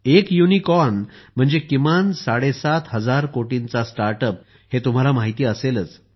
एक युनिकॉर्न म्हणजे किमान साडे सात हजार कोटींचा स्टार्टअप हे तुम्हाला माहिती असेलच